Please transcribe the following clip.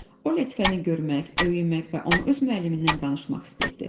O Lətifəni görmək, öymək və ona öz müəllimindən danışmaq istəyirdi.